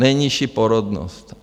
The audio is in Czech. Nejnižší porodnost!